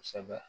Kosɛbɛ